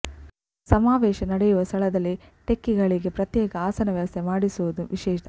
ಸಮಾವೇಶ ನಡೆಯುವ ಸ್ಥಳದಲ್ಲಿ ಟೆಕ್ಕಿಗಳಿಗೆ ಪ್ರತ್ಯೇಕ ಆಸನ ವ್ಯವಸ್ಥೆ ಮಾಡಿರುವುದು ವಿಶೇಷ